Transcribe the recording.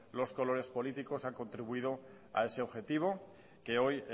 los colores políticos han contribuido a ese objetivo que hoy